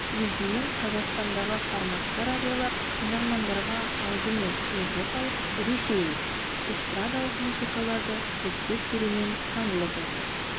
негізінен қазақстандағы форматты радиолар тыңдармандарға алдымен еуропалық ресейлік эстрадалық музыкаларды көптеп берумен танылып отыр